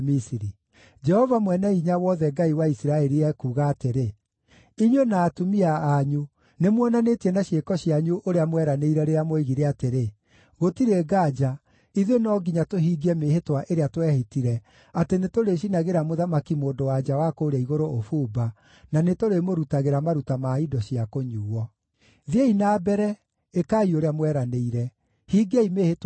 Jehova Mwene-Hinya-Wothe, Ngai wa Isiraeli, ekuuga atĩrĩ: Inyuĩ na atumia anyu nĩmuonanĩtie na ciĩko cianyu ũrĩa mweranĩire rĩrĩa mwoigire atĩrĩ, ‘Gũtirĩ nganja, ithuĩ no nginya tũhingie mĩĩhĩtwa ĩrĩa twehĩtire atĩ nĩtũrĩcinagĩra Mũthamaki-Mũndũ-wa-nja wa kũũrĩa Igũrũ ũbumba, na nĩtũrĩmũrutagĩra maruta ma indo cia kũnyuuo.’ “Thiĩi na mbere, ĩkai ũrĩa mweranĩire! Hingiai mĩĩhĩtwa yanyu!